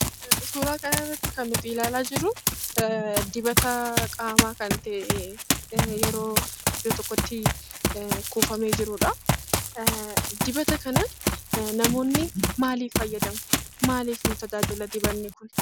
Suuraa kanarratti kan nuti ilaalaa jirruu dibataa qaamaa kan ta'ee yeroo iddo tokkottii kuufamee jirudhaa. Dibata kana namoonni maalif fayyadamu? maalif nu tajaajila dibanni kun?